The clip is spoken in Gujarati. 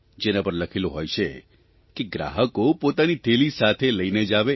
જેના પર લખેલું હોય છે કે ગ્રાહકો પોતાની થેલી સાથે લઇને જ આવે